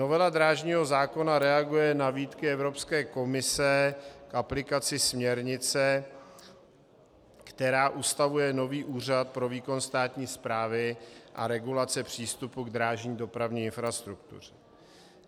Novela drážního zákona reaguje na výtky Evropské komise k aplikaci směrnice, která ustavuje nový úřad pro výkon státní správy a regulace přístupu k drážní dopravní infrastruktuře.